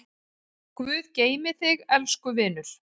Guð geymi þig, elsku vinur.